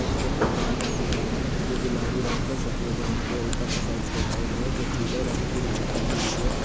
Light पे tent लगा हुआ हैं जो गुलाबी रंग का शफेद रंग के ऊपर का साइड पे लाइट हैं जो पीले रंग की लाइट लगी हुई हैं।